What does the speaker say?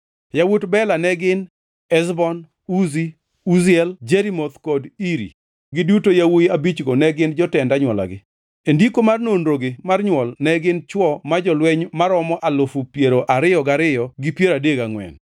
Yawuot Bela ne gin: Ezbon, Uzi, Uziel, Jerimoth kod Iri, giduto yawuowi abichgo ne gin jotend anywolagi. E ndiko mar nonrogi mar nywol ne gin chwo ma jolweny maromo alufu piero ariyo gariyo gi piero adek gangʼwen (22,034).